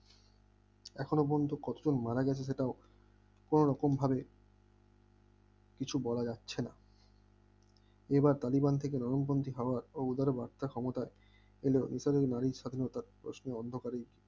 এখনো পর্যন্ত কতজন মারা গেছে সেটাও কোনরকম ভাবে কিছু বলা যাচ্ছে না এবার কালীগঞ্জ থেকে নরমপন্থী খাবার ও উদার বাত্রা ক্ষমতা এলেও ইতালির নারী স্বাধীনতা প্রশ্নে অন্ধকারে